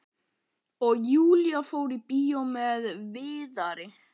Og Júlía fór í bíó með Viðari.